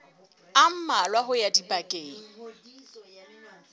a mmalwa ho ya dibekeng